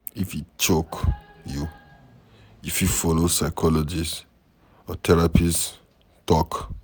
IF e choke you, you fit follow psychologist or therapist talk